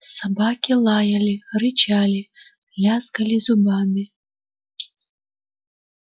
собаки лаяли рычали лязгали зубами